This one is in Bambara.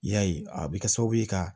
I y'a ye a bɛ kɛ sababu ye ka